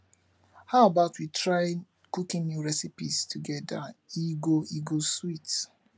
how about we try cooking new recipes together e go e go sweet